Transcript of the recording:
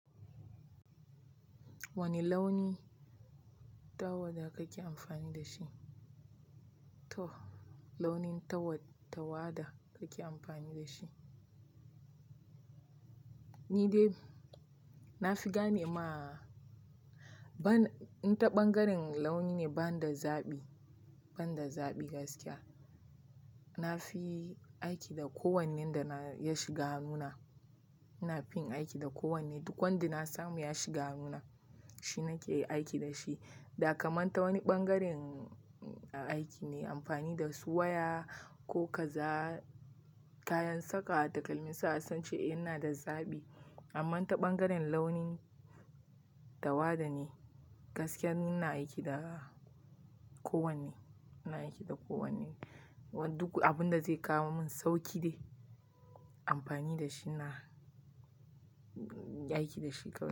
Wane launi tawada kake amfani da shi? To launin tawada kake amfani da shi. Ni dai na fi gane ma ban, in ta ɓangaren launi ne ba na da zaɓi, banda zaɓi gaskiya. Na fi aiki da kowannen da na ya shiga hannuna. Na fi aiki da kowanne. Duk wanda na samu ya shiga hannuna, shi nake aiki da shi. Dakaman ta wani ɓangaren aiki me amfani da su waya ko kaza kayan saka takalmin sa sai in ce a inada zaɓi. Amma ta ɓangaren launin tawada ne gaskiya ni ina aiki da kowanne, ina aiki da kowanne. Duk abin da zai kawo mun sauƙi ne amfani da shi inyi aiki da shi kawai.